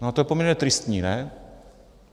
No a to je poměrně tristní, ne?